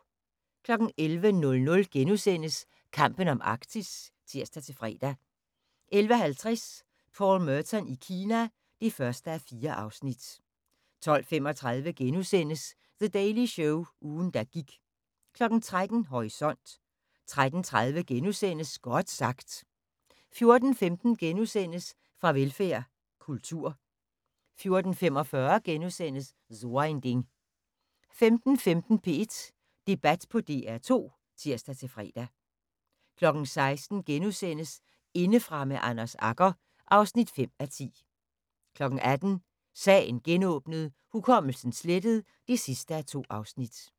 11:00: Kampen om Arktis *(tir-fre) 11:50: Paul Merton i Kina (1:4) 12:35: The Daily Show – ugen der gik * 13:00: Horisont 13:30: Godt sagt * 14:15: Farvelfærd: Kultur * 14:45: So ein Ding * 15:15: P1 Debat på DR2 (tir-fre) 16:00: Indefra med Anders Agger (5:10)* 18:00: Sagen genåbnet: Hukommelsen slettet (2:2)